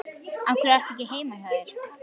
Af hverju ertu ekki heima hjá þér?